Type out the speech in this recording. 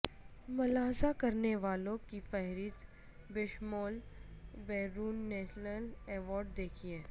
ملاحظہ کرنے والوں کی فہرست بشمول بیرون نیلسن ایوارڈ دیکھیں